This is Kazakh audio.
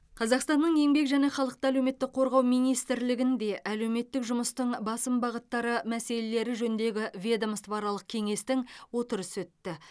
қазақстанның еңбек және халықты әлеуметтік қорғау министрлігінде әлеуметтік жұмыстың басым бағыттары мәселелері жөніндегі ведомствоаралық кеңестің отырысы өтті